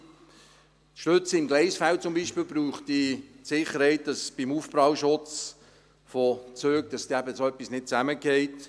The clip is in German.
Die Stützen im Gleisfeld bräuchten zum Beispiel die Sicherheit, dass beim Aufprall von Zügen so etwas nicht zusammenfällt.